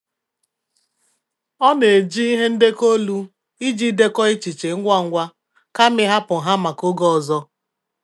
Ọ na-eji ihe ndekọ olu iji dekọọ echiche ngwa ngwa kama ịhapụ ha maka oge ọzọ.